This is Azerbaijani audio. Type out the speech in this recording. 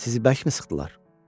Sizi bəlkəmi sıxdılar?